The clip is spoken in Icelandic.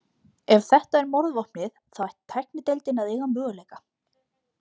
Ef þetta er morðvopnið, þá ætti tæknideildin að eiga möguleika.